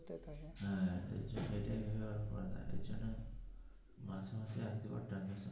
হ্যা এর জন্য মাসে মাসে এক দুবার transaction.